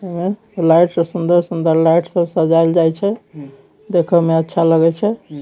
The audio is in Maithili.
लाइट से सुन्दर सुन्दर लाइट सजाये छे देखो में अच्छा लगे छे।